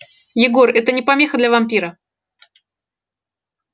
егор это не помеха для вампира